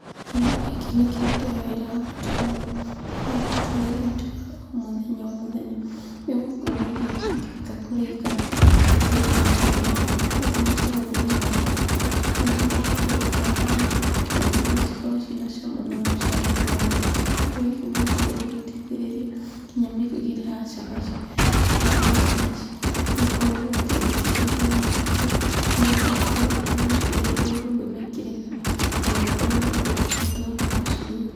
Kĩndũ gĩkĩ nĩ kĩrutaga wĩra wa bata mũno thĩiniĩ wa mũtũrĩre witũ o wa mũthenya o mũthenya nĩ gũkorwo irio itingĩhota kũrĩka itarĩ ngarange. No nginya tũhũthĩre maguta nĩgetha okorwo ũgĩkaranga na nĩgetha cikorwo ciĩ na cama na mũcamo mwega. Kĩndũ gĩkĩ nĩ gĩkoragwo gĩgĩteithĩrĩria nginya mĩrugĩre ya cabaci. Rĩrĩa ũraruga cabaci nĩ ũkoragwo ũkĩhũthĩra maguta nĩ getha ikorwo irĩ hũthũ na ikĩrekania ona ũkorwo ũkĩhota gũciruga.